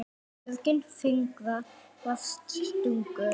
Björgin fingra varðist stungu.